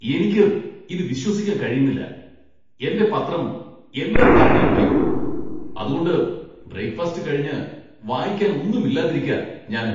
എനിക്ക് ഇത് വിശ്വസിക്കാൻ കഴിയുന്നില്ല! എന്റെ പത്രം എല്ലാ തവണയും വൈകും, അതുകൊണ്ട് ബ്രേക്ക്ഫാസ്റ്റ് കഴിഞ്ഞ് വായിക്കാൻ ഒന്നും ഇല്ലാതിരിക്കാ ഞാന്.